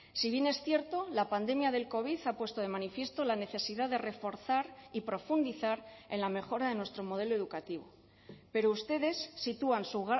si bien es cierto la pandemia del covid ha puesto de manifiesto la necesidad de reforzar y profundizar en la mejora de nuestro modelo educativo pero ustedes sitúan su